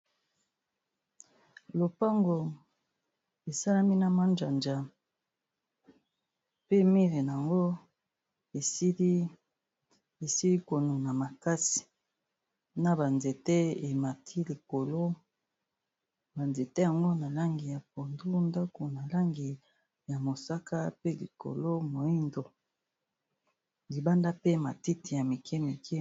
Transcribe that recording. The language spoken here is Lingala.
Lopango esalami na manjanja pe mire nango esili ko nuna makasi, na ba nzete emati likolo ba nzete yango na langi ya pondu, ndako na langi ya mosaka, pe likolo moyindo, libanda pe matiti ya mike mike...